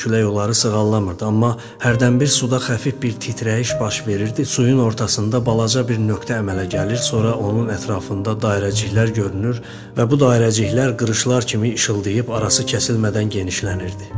Külək onları sığallamırdı, amma hərdənbir suda xəfif bir titrəyiş baş verirdi, suyun ortasında balaca bir nöqtə əmələ gəlir, sonra onun ətrafında dairəciklər görünür və bu dairəciklər qırışlar kimi işıldayıb arası kəsilmədən genişlənirdi.